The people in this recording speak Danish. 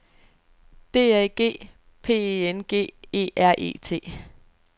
D A G P E N G E R E T